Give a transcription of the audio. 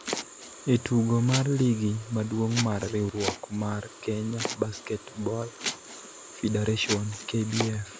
e tugo mar Ligi Maduong' mar Riwruok mar Kenya Basketball Federation (KBF)